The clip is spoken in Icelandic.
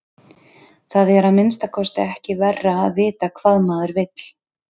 Það er að minnsta kosti ekki verra að vita hvað maður vill.